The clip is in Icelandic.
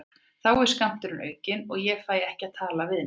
Þá er skammturinn aukinn og ég fæ ekki að tala við neinn.